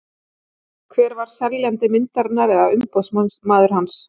Hver var seljandi myndarinnar eða umboðsmaður hans?